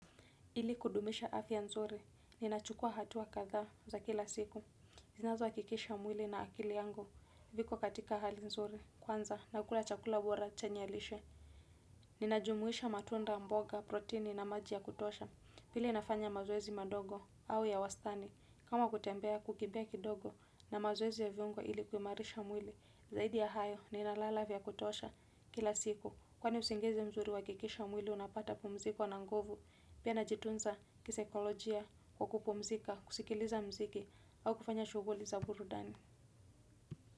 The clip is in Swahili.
Ili kudumisha afya nzuri, ninachukua hatua kadhaa za kila siku. Zinazo hakikisha mwili na akili yangu, viko katika hali nzuri, kwanza, na kukula chakula bora chenye lishe. Ninajumuisha matunda, mboga, protini na maji ya kutosha, pili nafanya mazoezi madogo au ya wastani. Kama kutembea, kukimbia kidogo na mazoezi ya viungo ili kuimarisha mwili, zaidi ya hayo, ninalala vya kutosha kila siku. Kwani usingizi mzuri huhakikisha mwili unapata pumziko na nguvu. Pia najitunza kisaikolojia kwa kupumzika, kusikiliza mziki, au kufanya shughuli za burudani.